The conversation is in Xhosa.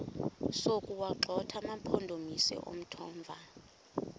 sokuwagxotha amampondomise omthonvama